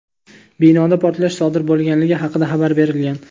Binoda portlash sodir bo‘lganligi haqida xabar berilgan.